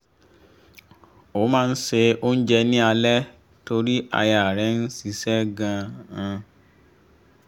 ó máa n se oúnjẹ ni alẹ́ torí aya rẹ̀ ń ṣiṣẹ́ gan-an